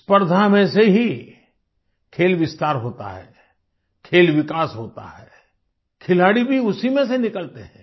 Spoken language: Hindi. स्पर्धा में से ही खेल विस्तार होता है खेल विकास होता है खिलाड़ी भी उसी में से निकलते हैं